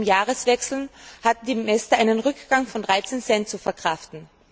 Bereits zum Jahreswechsel hatten die Mäster einen Rückgang von 13 Cent zu verkraften.